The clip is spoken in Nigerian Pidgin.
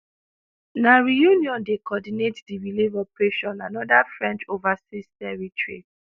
na reunion dey coordinate di relief operation anoda french overseas territory